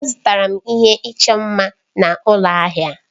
Azụtara m ihe ịchọ mma m na ụlọ ahịa.